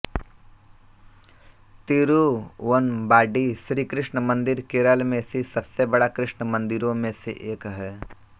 तिरुवंबाडी श्री कृष्ण मंदिर केरल में स्थित सबसे बड़ा कृष्ण मंदिरों में से एक है